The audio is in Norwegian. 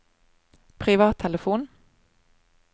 privattelefon